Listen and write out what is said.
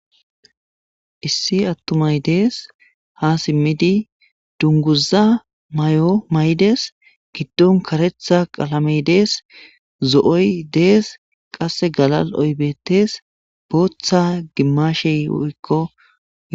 Issi attumay dees ha simmidi dunguza may7o maydes giddon karetha qalamey dees zo7oy dees qasse galal oybettes booththa gimmashe o7ikko.